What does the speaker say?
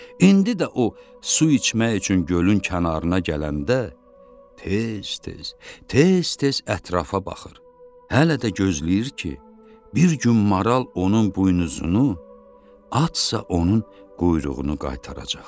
İndi də o su içmək üçün gölün kənarına gələndə tez-tez, tez-tez ətrafa baxır, hələ də gözləyir ki, bir gün maral onun buynuzunu, atsa onun quyruğunu qaytaracaq.